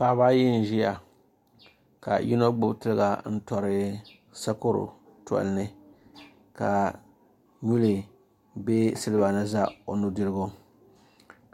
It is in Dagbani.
paɣaba ayi n-ʒiya ka yino gbubi tiliga n-tɔri sakɔro tɔli ni ka nyuli be siliba ni za o nudirigu